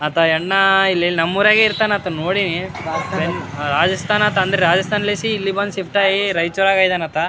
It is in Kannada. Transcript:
ಆತ ಯಣ್ಣಾ ಇಲ್ಲಿ ನಮ್ಮೊರಗೆ ಇರ್ತಾನ ಆತನ್ ನೋಡೀನಿ ರಾಜಸ್ತಾನ ಅಂದ್ರ ಇಲ್ಲಿ ಬಂದು ಶಿಫ್ಟ್ ಆಗಿ ರೈಚೂರಾಗೆ ಇದನಾತ.